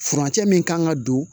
Furancɛ min kan ka don